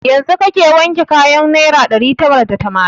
Yanzun kake wanke kayan naira ɗari tara da tamanin?